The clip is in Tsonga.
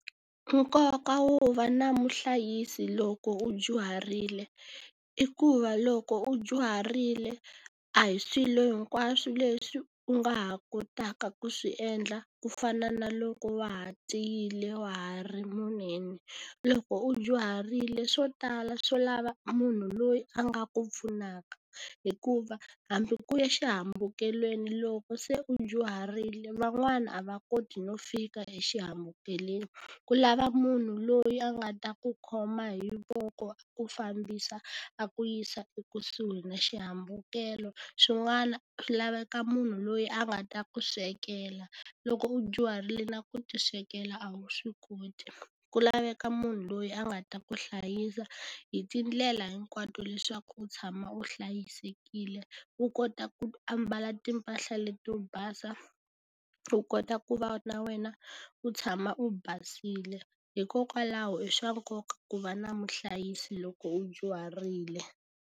Nkoka wo va na muhlayisi loko u dyuharile, i ku va loko u dyuharile a hi swilo hinkwaswo leswi u nga ha kotaka ku swi endla ku fana na loko wa ha tiyile wa ha ri munene. Loko u dyuharile swo tala swo lava munhu loyi a nga ku pfunaka, hikuva hambi ku ya xihambukelweni loko se u dyuharile van'wana a va koti no fika exihambukelweni. Ku lava munhu loyi a nga ta ku khoma hi voko, a ku fambisa, a ku yisa ekusuhi na xihambukelo. Swin'wana swi laveka munhu loyi a nga ta ku swekela, loko u dyuharile na ku tiswekela a wu swi koti. Ku laveka munhu loyi a nga ta ku hlayisa hi tindlela hinkwato leswaku u tshama u hlayisekile, u kota ku ambala timpahla leti to basa, u kota ku va na wena u tshama u basile. Hikokwalaho i swa nkoka ku va na muhlayisi loko u dyuharile.